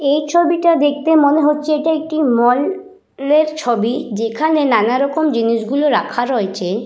এই ছবিটা দেখতে মনে হচ্ছে এটা একটি মল এর ছবি যেখানে নানা রকম জিনিস গুলো রাখা রয়েছে।